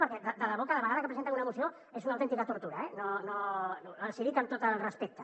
perquè de debò cada vegada que presenten una moció és una autènti·ca tortura eh els hi dic amb tot el respecte